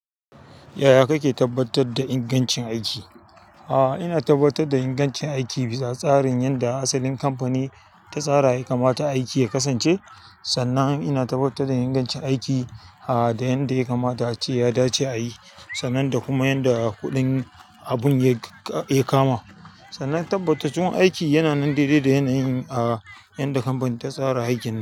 Yaya kake tabbatar da ingancin aiki? A'a, ina tabbatar da ingancin aiki bisa tsarin yadda asalin kamfani ta tsara kamata aiki ya kasance. Sannan ina tabbatar da ingancin aiki, aa, da yanda ya kamata a ce ya dace a yi, sannan da kuma yanda kuɗin abun ya, ya kama. Sannan tabbataccun aiki yana nan daidai da yanayin, aa, yadda kamfani ta tsara aikin.